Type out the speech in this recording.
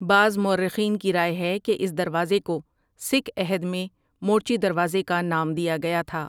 بعض مورخین کی رائے ہے کہ اس دروازے کو سکھ عہد میں مورچی دروازے کا نام دیا گیا تھا ۔